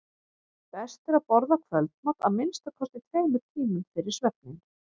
best er að borða kvöldmat að minnsta kosti tveimur tímum fyrir svefninn